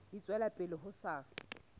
di tswela pele ho sa